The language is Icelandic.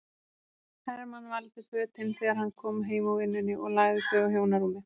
Hermann valdi fötin þegar hann kom heim úr vinnunni og lagði þau á hjónarúmið.